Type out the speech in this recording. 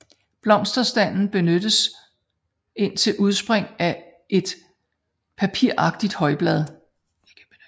Blomsterstanden beskyttes indtil udspring af et papiragtigt højblad